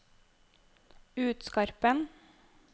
Utskarpen